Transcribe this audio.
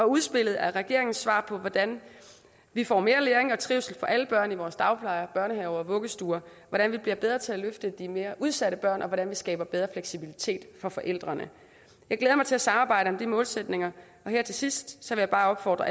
udspillet er regeringens svar på hvordan vi får mere læring og trivsel for alle børn i vores dagplejer børnehaver og vuggestuer hvordan vi bliver bedre til at løfte de mere udsatte børn og hvordan vi skaber bedre fleksibilitet for forældrene jeg glæder mig til at samarbejde om de målsætninger og her til sidst vil jeg bare opfordre